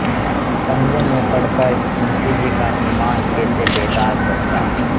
पंजे में पड़ कर मुंशीजी का ईमान कैसे बेदाग बचता